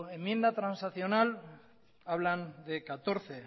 enmienda transaccional hablan de catorce